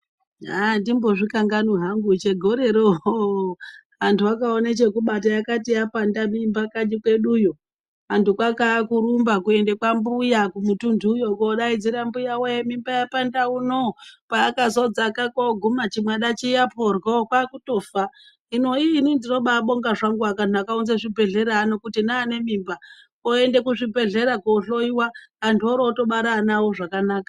Andimbozvikanganwi hangu chegorero hoo antu akawone chekubata yakati yapanda mimba kanyi kweduyo . Antu kwakaa kurumba kuende kwambuya kumutuntuyo kodaidzira mbuyawee mimba yapanda uno paakazodzaka koguma chimwana chiya poryo kwakutofa . Hino iiii inini ndinobabonga zvangu vantu vakaunze zvibhedhlera ano kuti neane mimba oende kuzvibhedhlera kohloiwa antu orotobara ana awo zvakanaka.